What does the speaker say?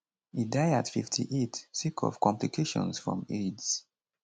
e die at 58 sake of complications from aids